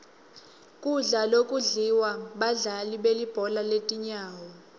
kudla lokudliwa badlali belibhola letinyawo